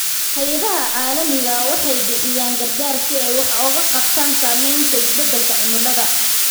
Hay'adaha caalamiga ahi waxay bixiyaan gargaar si ay wax uga qabtaan saamaynta isbeddelka cimilada.